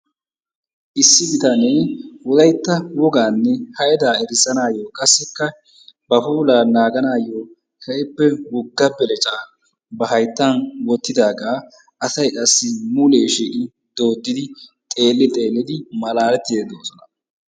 Issi bitane wolaytta woganne haydaa erissanaayo qassikka ba puulaa naaganaayo keehippe Wogga beleccaa ba hayttan wottidaaga asay qassi mulee shiiqqi doddidi xeelli xeellidi malaalettidi de'oosona.